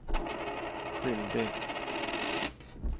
skyldig